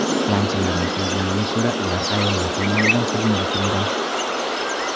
Jangchilarning so‘zlariga ko‘ra, ular ayollar tomonidan hujumga uchragan.